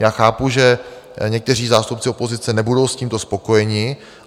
Já chápu, že někteří zástupci opozice nebudou s tímto spokojeni.